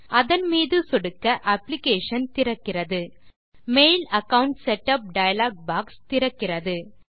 அதன் மீது சொடுக்க அப்ளிகேஷன் திறக்கிறது mail account setup dialog box திறக்கிறது